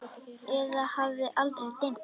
Eða hafði aldrei dimmt?